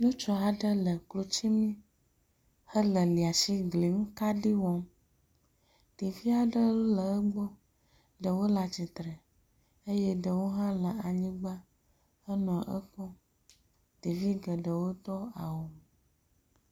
Ŋutsu aɖe le klotsi nu hele liasigliŋukaɖi wɔm. Ɖevia ɖe le egbɔ. Ɖewo le atsitre eye ɖewo hã le anyigba henɔ ekpɔm. Ɖevia geɖewo do awu.